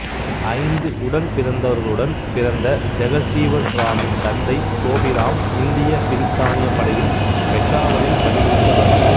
ஐந்து உடன் பிறந்தவர்களுடன் பிறந்த ஜெகசீவன்ராமின் தந்தை சோபிராம் இந்திய பிரித்தானியப் படையில் பெஷாவரில் பணி புரிந்தவர்